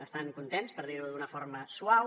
estan contents per dir ho d’una forma suau